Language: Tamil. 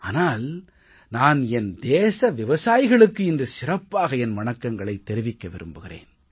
ஆனால் நான் என் தேச விவசாயிகளுக்கு இன்று சிறப்பாக என் வணக்கங்களைத் தெரிவிக்க விரும்புகிறேன்